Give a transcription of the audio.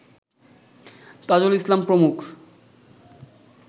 তাজুল ইসলাম প্রমুখ